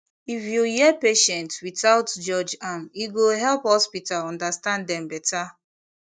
if you hear patient without judge am e go help hospital understand dem better